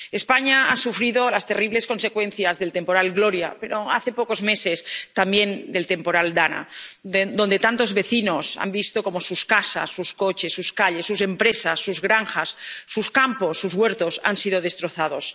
España ha sufrido las terribles consecuencias del temporal Gloria, pero hace pocos meses también de la DANA, donde tantos vecinos han visto cómo sus casas, sus coches, sus calles, sus empresas, sus granjas, sus campos, sus huertos, han sido destrozados.